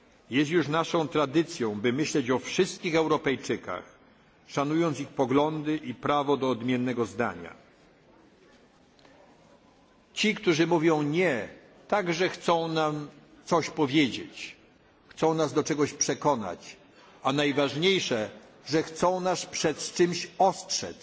na nie. Jest już naszą tradycją by myśleć o wszystkich Europejczykach, szanując ich poglądy i prawo do odmiennego zdania. Ci, którzy mówią nie, także chcą nam coś powiedzieć, chcą nas do czegoś przekonać, a najważniejsze, że chcą nas przed